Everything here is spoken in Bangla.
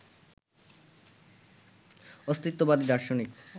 অস্তিত্ববাদী দার্শনিক